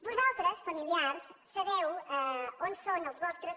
vosaltres familiars sabeu on són els vostres